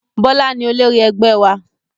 Bọlá ni olórí ẹgbẹ́ wa